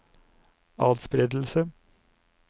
atspredelse